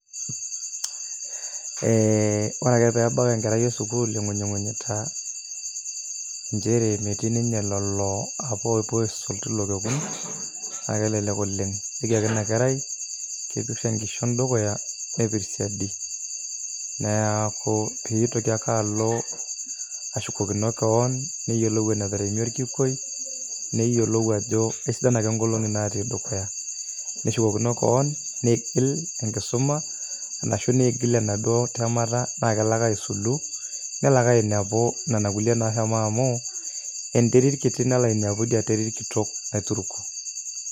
Ee ore ake peebau enkerai esukuul ingunyingunyita nchere metii ninye lelo apa opuo aisul tilo kekun naa kelelek oleng , ijoki ake ina kerai, kepir enkishon dukuya , neaku pitoki ake alo ashukokino kewon, neyiolou enateremie orkikwei ,neyiolou ajo aisidan ake nkolongi naatii dukuya , neshukokino kewon , neigil enkisuma arashu neigil enaduo temata naa kelo ake aisulu , nelo ake ainepu nena kulie nashomo amu enterit kiti nalo ainepu idia terit kitok aituruk.